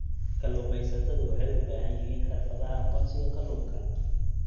Kalluumaysatadu waxay u baahan yihiin xirfadaha aqoonsiga kalluunka.